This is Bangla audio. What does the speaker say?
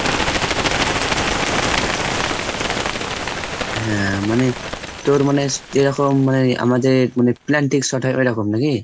হ্যাঁ মানে তোর মানে যেরকম মানে আমাদের মানে penalty shot হয় এরকম নাকি?